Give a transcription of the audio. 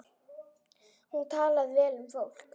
Hún talaði vel um fólk.